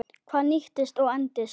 Hvað nýtist og endist?